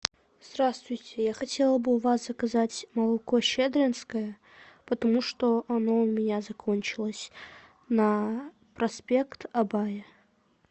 здравствуйте я хотела бы у вас заказать молоко щедринское потому что оно у меня закончилось на проспект абая